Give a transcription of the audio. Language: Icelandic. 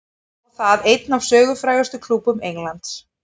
Og það einn af sögufrægustu klúbbum Englands.